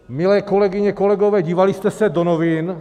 Milé kolegyně, kolegové, dívali jste se do novin?